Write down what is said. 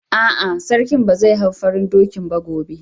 A'a, Sarki ba zai hau farin dokin ba gobe.